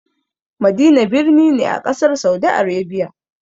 Madina birni ne a ƙasar Saudi Arabia.